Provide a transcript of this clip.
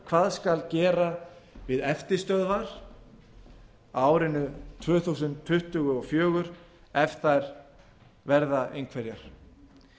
hvað skal gera við eftirstöðvar á árinu tvö þúsund tuttugu og fjögur ef þær verða einhverjar